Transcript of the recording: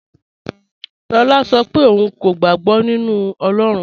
Lọlá ń ṣọ́ pẹ̀ ọ̀un kò gbàg̀bọ̀ nínu Ọlọ́run.